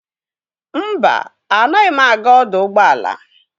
Mba, anaghị m aga ọdụ ụgbọala.